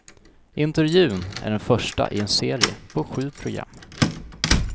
Intervjun är den första i en serie på sju program.